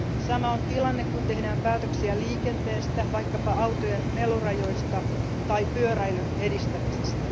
Sama on tilanne, kun tehdään päätöksiä liikenteestä, vaikkapa autojen melurajoista tai pyöräilyn edistämisestä.